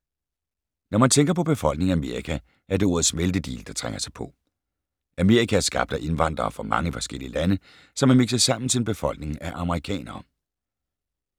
Når man tænker på befolkningen i Amerika, er det ordet smeltedigel, der trænger sig på. Amerika er skabt af indvandrere fra mange forskellige lande, som er mikset sammen til en befolkning af amerikanere.